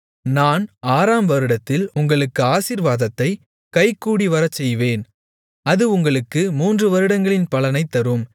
நான் ஆறாம் வருடத்தில் உங்களுக்கு ஆசீர்வாதத்தைக் கைகூடிவரச்செய்வேன் அது உங்களுக்கு மூன்று வருடங்களின் பலனைத் தரும்